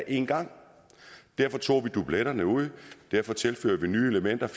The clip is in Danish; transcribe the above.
en gang derfor tog vi dubletterne ud derfor tilfører vi nye elementer og